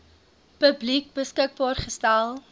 publiek beskikbaar gestel